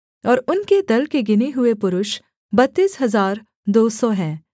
और उनके दल के गिने हुए पुरुष बत्तीस हजार दो सौ हैं